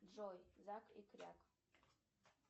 джой зак и кряк